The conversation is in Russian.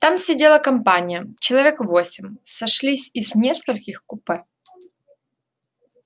там сидела компания человек восемь сошлись из нескольких купе